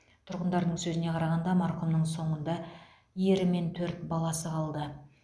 тұрғындардың сөзіне қарағанда марқұмның соңында ері мен төрт баласы қалды